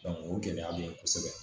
o gɛlɛya bɛ yen kosɛbɛ